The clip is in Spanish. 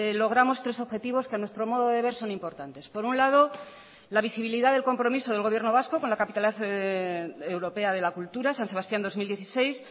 logramos tres objetivos que a nuestro modo de ver son importantes por un lado la visibilidad del compromiso del gobierno vasco con la capitalidad europea de la cultura san sebastián dos mil dieciséis